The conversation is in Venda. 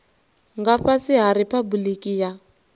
nga fhasi ha riphabuliki ya